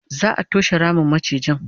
za'a toshe Ramin macijin